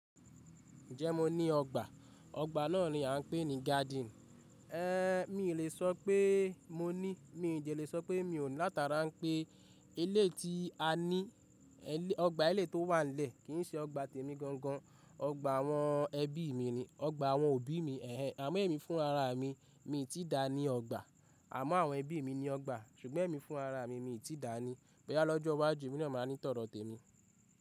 Ǹjẹ́ mo ní ọgbà? Ọgbà náà ni à ń pè ní garden. Mí ì lè sọ pé mo ní, mí dẹ lè sọ pé mi ò ní, látara pé eleyi tí a ní, ọgbà eleyi tó wà nlẹ̀ kì í ṣe ọgbà tèmi gangan. Ọgbà àwọn ẹbí mi ni, ọgbà àwọn òbí mi, àmọ́ èmi fún rara mi, mi tí dà ní ọgbà. Àmọ́ àwọn ẹbí mi ni ọgbà, ṣùgbọ́n èmi fún rara mi, mi tí dà ni. Bo yá lọ́jọ́ iwájú, èmi náà máa ní tọ̀dọ̀ tèmi.